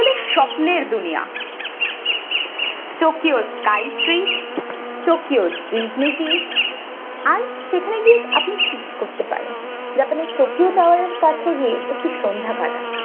স্বপ্নের দুনিয়া tokyo sky tree tokyo disney sea আর সেখানে গিয়ে আপনি কি কি করতে পারেন japan এর tokyo tower এর কাছে গিয়ে একটি সন্ধ্যা কাটান।